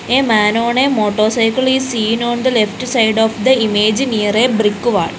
a man on a motor cycle is seen on the left side of the image near a brick wall.